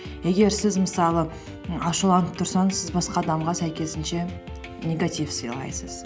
егер сіз мысалы ашуланып тұрсаңыз сіз басқа адамға сәйкесінше негатив сыйлайсыз